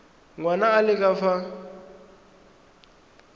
ngwana a le ka fa